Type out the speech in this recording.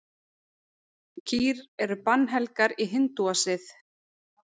Kýr eru bannhelgar í hindúasið.